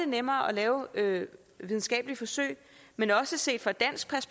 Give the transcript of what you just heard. nemmere at lave videnskabelige forsøg men også set fra